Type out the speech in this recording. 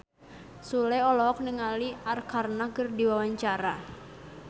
Sule olohok ningali Arkarna keur diwawancara